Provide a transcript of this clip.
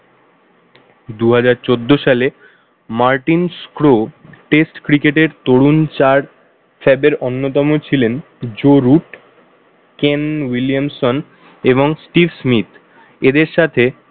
দুহাজার চোদ্দ সালে মার্টিন্স ক্রো test cricket এর তরুণ চার fab এর অন্যতম ছিলেন জো রুট, কেন উইলিয়ামসন এবং স্টিভ স্মিথ। এদের সাথে